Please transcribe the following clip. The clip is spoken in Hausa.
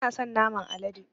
Bana son naman alade